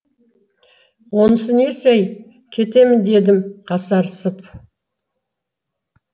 онысы несі ей кетемін дедім қасарысып